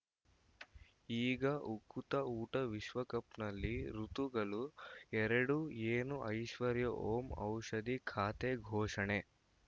ಈಗ ಉಕುತ ಊಟ ವಿಶ್ವಕಪ್‌ನಲ್ಲಿ ಋತುಗಳು ಎರಡು ಏನು ಐಶ್ವರ್ಯಾ ಓಂ ಔಷಧಿ ಖಾತೆ ಘೋಷಣೆ